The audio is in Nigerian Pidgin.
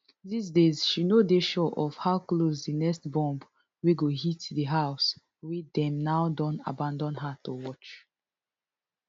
these days she no dey sure of how close di next bomb wey go hit di house wey dem now don abandon her to watch